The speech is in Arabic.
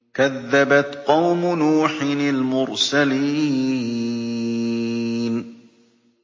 كَذَّبَتْ قَوْمُ نُوحٍ الْمُرْسَلِينَ